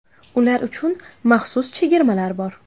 Ular uchun maxsus chegirmalar bor.